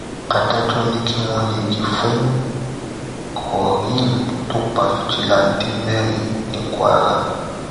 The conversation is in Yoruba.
adájọ ní kí wọn yẹgi fún quareem tó pa fíjìláńtẹ mẹrin ní kwara